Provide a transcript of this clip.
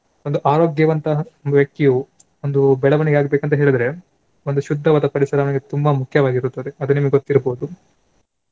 ಒಂದು ಆರೋಗ್ಯವಂತಹ ಒಂದು ವ್ಯಕ್ತಿಯು ಒಂದು ಬೆಳವಣಿಗೆ ಆಗಬೇಕಂತ ಹೇಳಿದ್ರೆ ಒಂದು ಶುದ್ದವಾದ ಪರಿಸರ ಅವನಿಗೆ ತುಂಬಾ ಮುಖ್ಯವಾಗಿರುತ್ತದೆ ಅದು ನಿಮಗೆ ಗೊತ್ತಿರ್ಬೋದು.